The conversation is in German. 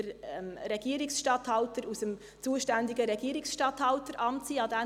der Regierungsstatthalter des zuständigen Regierungsstatthalteramts wird es sein.